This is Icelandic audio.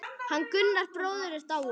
Hann Gunnar bróðir er dáinn.